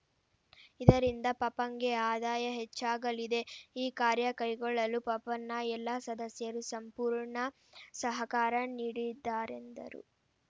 ಇದರಿಂದ ಪಪಂಗೆ ಆದಾಯ ಹೆಚ್ಚಾಗಲಿದೆ ಈ ಕಾರ್ಯಕೈಗೊಳ್ಳಲು ಪಪಂನ ಎಲ್ಲ ಸದಸ್ಯರು ಸಂಪೂರ್ಣ ಸಹಕಾರ ನೀಡಿದ್ದಾರೆಂದರು